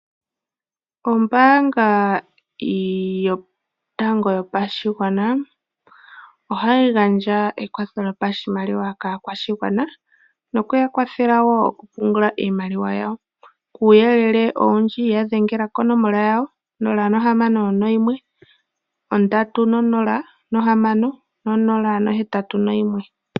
Ombaanga yotango yopashigwana ohayi gandja ekwatho lyopashimaliwa kaa kwashigwana, nokuya kwathela woo oku pungula iimaliwa yawo. Kuuyelele owundji ya dhengela konomola yawo 061306081.